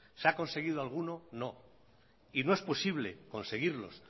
se ha conseguido alguno no y no es posible conseguirlos